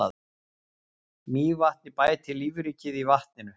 Mývatni bæti lífríkið í vatninu.